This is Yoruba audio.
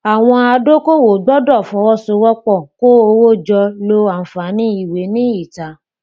àwọn adókòwò gbọdọ fọwọsowọpọ kó owó jọ lo àǹfààní ìwé ní ìta